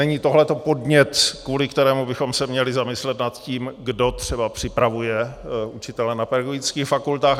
Není tohle podnět, kvůli kterému bychom se měli zamyslet nad tím, kdo třeba připravuje učitele na pedagogických fakultách?